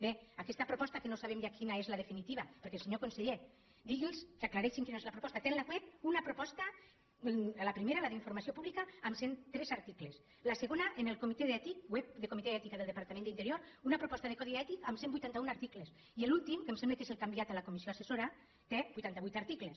bé aquesta proposta que no sabem quina és la defi·nitiva perquè senyor conseller digui’ls que aclarei·xin quina és la proposta té en el web una proposta la primera la d’informació pública amb cent i tres articles la segona en el comitè ètic web del comitè d’ètica del departament d’interior una proposta de codi ètic amb cent i vuitanta un articles i l’últim que em sembla que és el que ha enviat a la comissió assessora té vuitanta vuit articles